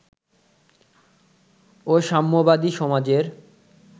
ও সাম্যবাদী সমাজের